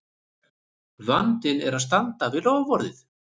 Vandinn er að standa við loforðið!